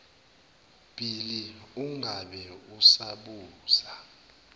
bhili ungabe usabuza